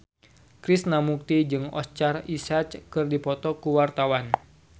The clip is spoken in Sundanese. Krishna Mukti jeung Oscar Isaac keur dipoto ku wartawan